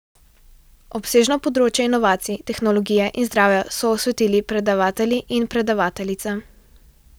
Obsežno področje inovacij, tehnologije in zdravja so osvetlili predavatelji in predavateljica.